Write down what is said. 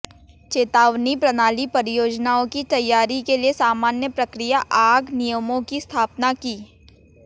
चेतावनी प्रणाली परियोजनाओं की तैयारी के लिए सामान्य प्रक्रिया आग नियमों की स्थापना की